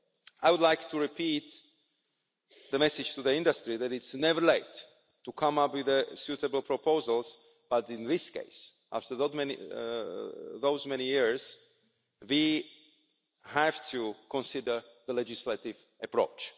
I would like to repeat the message to the industry that its's never too late to come up with suitable proposals, but in this case, after so many years, we have to consider the legislative approach.